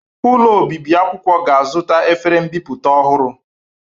Ụlọ obibi akwụkwọ ga-azụta efere mbipụta ọhụrụ.